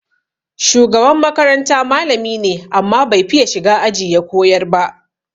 Shugaban makaranta malami ne, amma bai fiya shiga aji ya koyar ba.